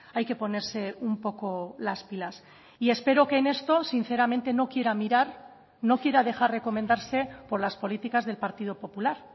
hay que ponerse un poco las pilas y espero que en esto sinceramente no quiera mirar no quiera dejar recomendarse por las políticas del partido popular